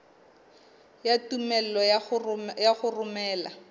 ya tumello ya ho romela